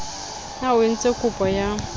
na o entse kopo ya